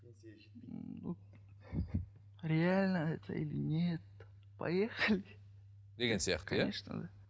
реально это или нет поехали деген сияқты иә